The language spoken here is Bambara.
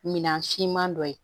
Min siman dɔ ye